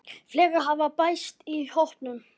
Fleiri hafa bæst í hópinn.